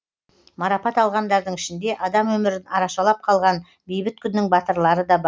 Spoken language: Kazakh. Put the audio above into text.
марапат алғандардың ішінде адам өмірін арашалап қалған бейбіт күннің батырлары да бар